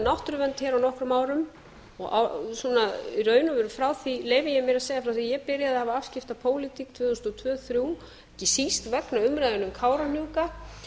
náttúruvernd hér á nokkrum árum í raun og veru frá því leyfi ég mér að segja að ég byrjaði að hafa afskipti af pólitík tvö þúsund og tvö tvö þúsund og þrjú ekki síst vegna umræðunnar um kárahnjúka